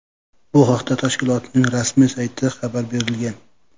Bu haqda tashkilotning rasmiy saytida xabar berilgan .